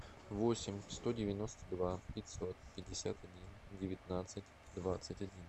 восемь сто девяносто два пятьсот пятьдесят один девятнадцать двадцать один